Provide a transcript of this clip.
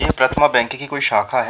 ये प्रथमा बैंक की कोई शाखा है।